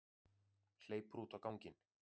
Hleypur út á ganginn.